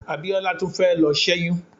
Abiola tún fẹ́ lọ ṣẹ́yún.